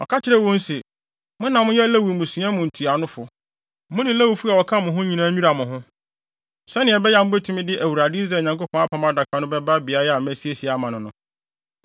Ɔka kyerɛɛ wɔn se, “Mo na moyɛ Lewifo mmusua mu ntuanofo. Mo ne Lewifo a wɔka mo ho nyinaa nnwira mo ho, sɛnea ɛbɛyɛ a mubetumi de Awurade, Israel Nyankopɔn, Apam Adaka no bɛba beae a masiesie ama no no.